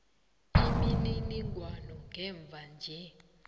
imininingwana yamva nje